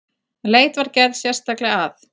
Leit var gerð sérstaklega að